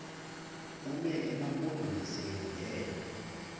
bume emampondomiseni ngelo